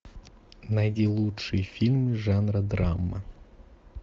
найди лучшие фильмы жанра драма